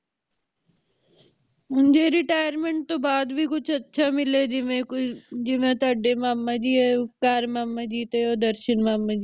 ਹੁਣ ਜੇ retirement ਤੋਂ ਬਾਦ ਵੀ ਕੁਝ ਅੱਛਾ ਮਿਲੇ ਜਿਵੇ ਕੋਈ ਜਿਵੇ ਤੁਹਾਡੇ ਮਾਮਾ ਜੀ ਹੈ ਉਪਕਾਰ ਮਾਮਾ ਜੀ ਤੇ ਤੇ ਓ ਦਰਸ਼ਨ ਮਾਮਾ ਜੀ